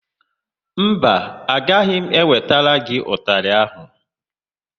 Mba, agaghị m ewetara gị ụtalị áhụ̀.